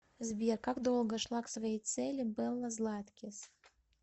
сбер как долго шла к своей цели белла златкис